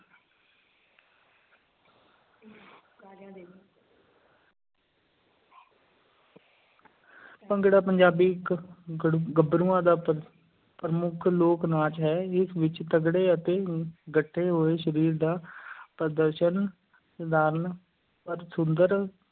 ਭੰਗੜਾ ਪੰਜਾਬੀ ਇੱਕ ਗੜ ਗੱਭਰੂਆਂ ਦਾ ਪ ਪ੍ਰਮੁੱਖ ਲੋਕ-ਨਾਚ ਹੈ, ਇਸ ਵਿੱਚ ਤਕੜੇ ਅਤੇ ਗੱਠੇ ਹੋਏ ਸਰੀਰ ਦਾ ਪ੍ਰਦਰਸ਼ਨ, ਸਧਾਰਨ ਪਰ ਸੁੰਦਰ